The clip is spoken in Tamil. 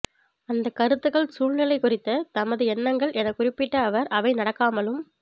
அந்தக் கருத்துக்கள் சூழ்நிலை குறித்த தமது எண்ணங்கள் எனக் குறிப்பிட்ட அவர் அவை நடக்காமலும்